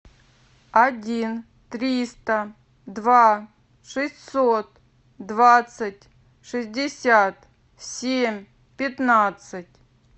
один триста два шестьсот двадцать шестьдесят семь пятнадцать